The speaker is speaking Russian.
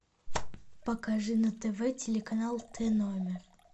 покажи на тв телеканал т номер